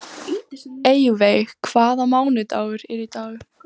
Eyveig, hvaða mánaðardagur er í dag?